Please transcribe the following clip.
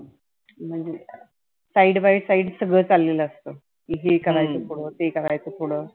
म्हणजे side by side सगळ चाललेलं असतं. हे करायच पुढंं ते करायच पुढ.